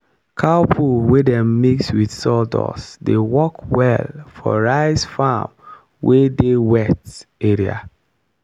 cow poo wey dem mix with sawdust dey work well for rice farm wey dey wet area.